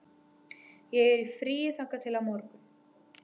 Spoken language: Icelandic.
Ég er í fríi þangað til á morgun.